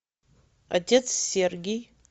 отец сергий